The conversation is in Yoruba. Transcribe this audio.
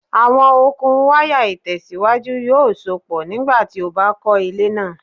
Awọn okun waya itẹsiwaju yoo sopọ nigbati o ba kọ ile naa